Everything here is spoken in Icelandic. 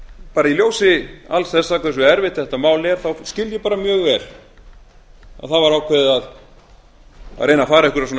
bara í ljósi alls þessa hversu erfitt þetta mál er þá skil ég bara mjög vel að það var ákveðið að reyna að fara einhverja